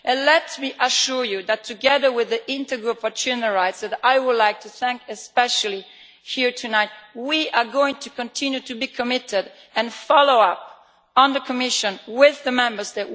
Let me assure you that, together with the Intergroup on children's rights, whom I would like to thank especially here tonight, we are going to continue to be committed and follow up on the Commission, with the Member States.